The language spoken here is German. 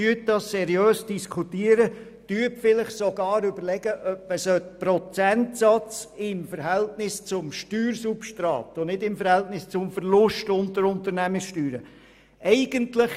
Sie kann seriös darüber diskutieren, und vielleicht überlegt sie sich sogar, den Prozentsatz im Verhältnis zum Steuersubstrat und nicht im Verhältnis zum Verlust von Unternehmenssteuern festzulegen.